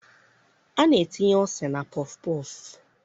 A na-etinye ose na pọfụ pọọfụ.